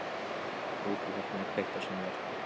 Úti í horni er kveikt á sjónvarpi.